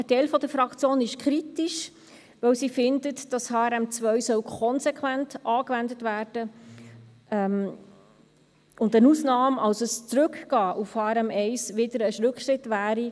Ein Teil der Fraktion ist kritisch, weil sie findet, dass HRM2 konsequent angewendet werden soll und eine Ausnahme, also ein Zurückgehen auf HRM1, wieder ein Rückschritt wäre.